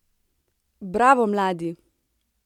Bravo, mladi!